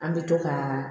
An bɛ to ka